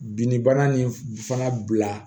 Binnibana nin fana bila